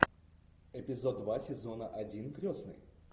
эпизод два сезона один крестный